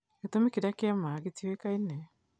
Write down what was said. Gĩtũmi kĩrĩa kĩama gĩtiũĩkaine